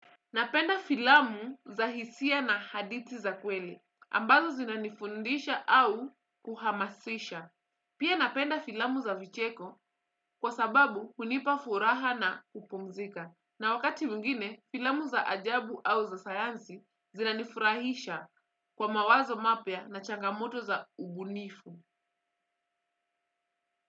Napenda filamu za hisia na haditi za kweli. Ambazo zinanifundisha au kuhamasisha. Pia napenda filamu za vicheko kwa sababu kunipa furaha na upumzika. Na wakati muingine filamu za ajabu au za sayansi zinanifurahisha kwa mawazo mapia na changamoto za ubunifu.